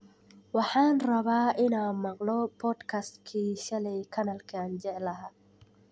Waxaan rabaa inaan maqlo podcast-kii shalay kanaalka aan jeclahay